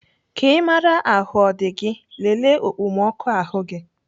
Ka Ị maraa ahụ ọ dị gị, lelee okpomọkụ ahụ gị.